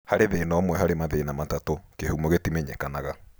Harĩ thĩna ũmwe harĩ mathĩna matatũ, kĩhumo gĩtimenyekanaga